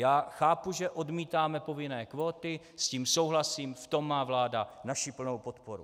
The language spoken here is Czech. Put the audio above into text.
Já chápu, že odmítáme povinné kvóty, s tím souhlasím, v tom má vládu naši plnou podporu.